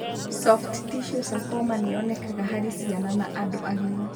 Soft tissue sarcoma nĩ yonekaga harĩ ciana na andũ agima.